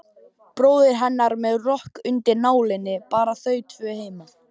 Bróðir hennar með rokk undir nálinni, bara þau tvö heima.